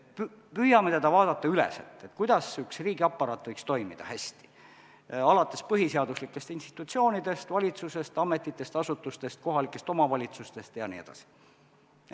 Püüame vaadata selle üleselt, kuidas üks riigiaparaat võiks hästi toimida, alates põhiseaduslikest institutsioonidest, valitsusest, ametitest, asutustest, kohalikest omavalitsustest jne.